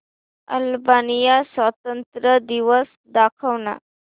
Albania स्वातंत्र्य दिवस दाखव ना